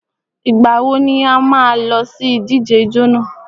Ìgbà wo ni a má a lọ sí ìdíje ijó nà?